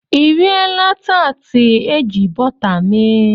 I riela taatị eji bọta mee?